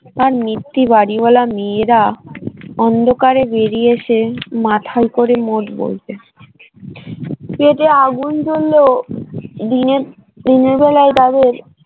আর নিত্যি বাড়িওয়ালা মেয়েরা অন্ধকারে বেরিয়ে এসে মাথাল করে মোট বলতে পেটে আগুন জ্বললেও দিনের দিনের বেলায় তাদের